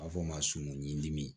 A bɛ fɔ o ma sumun ɲinini